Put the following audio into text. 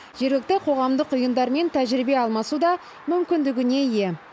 жергілікті қоғамдық ұйымдармен тәжірибе алмасу да мүмкіндігіне ие